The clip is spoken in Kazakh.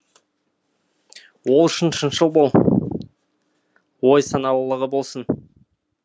ол үшін шыншыл бол ой саналылығы болсын